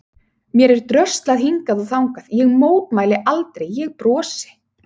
Mér er dröslað hingað og þangað, ég mótmæli aldrei, ég brosi.